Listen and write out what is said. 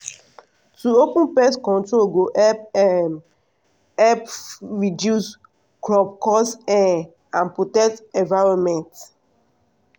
to open pest control go um help reduce crop loss um and protect environment.